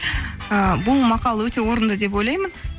ы бұл мақал өте орынды деп ойлаймын